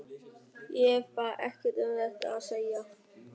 Ég hef bara ekkert um þetta að segja.